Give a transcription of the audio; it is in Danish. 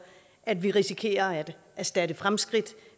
at vi risikerer at erstatte fremskridt